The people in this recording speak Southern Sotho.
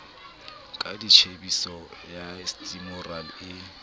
ka tjhepisi ya stimorol e